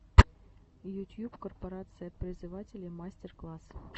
ютьюб корпорация призывателей мастер класс